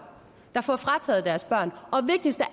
der får frataget deres børn og vigtigst af